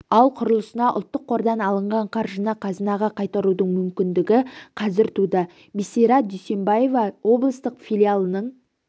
ал құрылысына ұлттық қордан алынған қаржыны қазынаға қайтарудың мүмкіндігі қазір туды бисара дүйсембаева облыстық филиалының